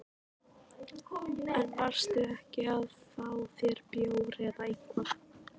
En varstu ekki að fá þér bjór eða eitthvað?